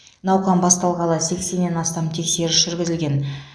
науқан басталғалы сексеннен астам тексеріс жүргізілген